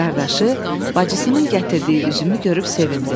Qardaşı bacısının gətirdiyi üzümü görüb sevindi.